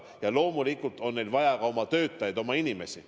Ja loomulikult on neil vaja ka oma töötajaid, oma inimesi.